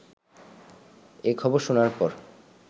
এ খবর শোনার পর